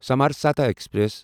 سمرسَتا express